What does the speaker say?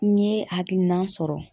N ye hakilina sɔrɔ